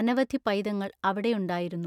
അനവധി പൈതങ്ങൾ അവിടെയുണ്ടായിരുന്നു.